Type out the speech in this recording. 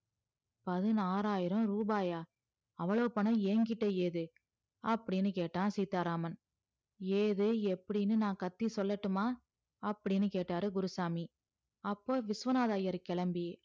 பதினாறாயிரம் ரூபாய் அவ்ளோ பணம் என்கிட்ட எது அப்டின்னு கேட்ட சீத்தாராமன் எது எப்டின்னு நான் கத்தி சொல்லட்டுமா அப்டின்னு கேட்டாரு குருசாமி அப்போ விஸ்வநாதர் ஐயர் கிளம்பி